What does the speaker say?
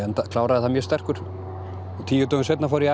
kláraði það mjög sterkur og tíu dögum seinna fór ég